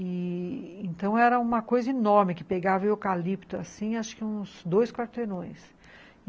E... então era uma coisa enorme, que pegava eucalipto, assim, acho que uns dois quarteirões.